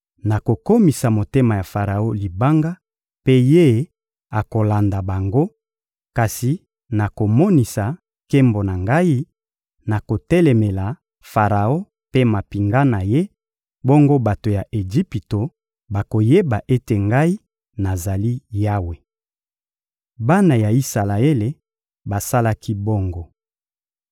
Nakokomisa motema ya Faraon libanga, mpe ye akolanda bango; kasi nakomonisa nkembo na Ngai, nakotelemela Faraon mpe mampinga na ye; bongo bato ya Ejipito bakoyeba ete Ngai nazali Yawe.» Bana ya Isalaele basalaki bongo.